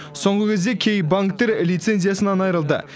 соңғы кезде кей банктер лицензиясынан айырылды